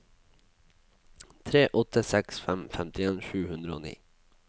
tre åtte seks fem femtien sju hundre og ni